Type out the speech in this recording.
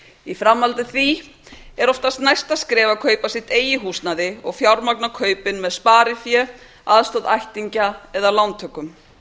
í framhaldi af því er oftast næsta skref að kaupa sín eigin húsnæði og fjármagna kaupin með sparifé aðstoð ættingja eða lántökum